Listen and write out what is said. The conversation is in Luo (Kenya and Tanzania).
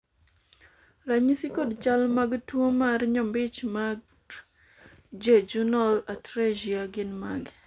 ranyisi kod chal mag tuo mar nyombich mar jejunal atresia gin mage?